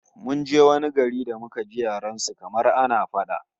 Mun je wani gari da muka ji yaren su kamar ana fada!